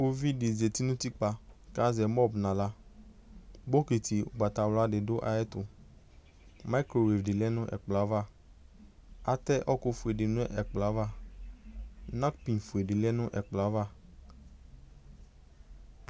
kpovɩ di zeti nu utikpa ku azɛ nu axla bokɩtɩ ugba wla dɩ du ayɛtu atɛ ɛkufu di nu ɛplɔɛva napiŋ di ya dunu ɛpklɔ yaʋa